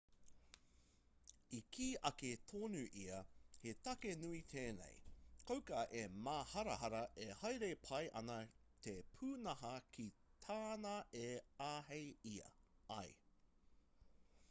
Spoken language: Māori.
i kī ake tonu ia he take nui tēnei kauka e māharahara e haere pai ana te pūnaha ki tāna e āhei ai